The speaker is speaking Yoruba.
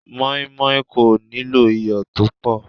Moinmoin kò nílò iyọ̀ tó pọ̀.